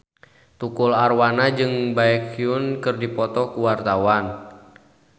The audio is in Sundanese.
Tukul Arwana jeung Baekhyun keur dipoto ku wartawan